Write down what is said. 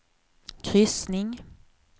kryssning